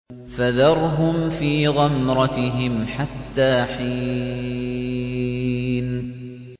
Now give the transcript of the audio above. فَذَرْهُمْ فِي غَمْرَتِهِمْ حَتَّىٰ حِينٍ